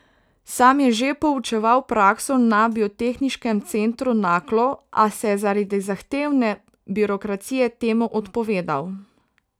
Sam je že poučeval prakso na Biotehniškem centru Naklo, a se je zaradi zahtevne birokracije temu odpovedal.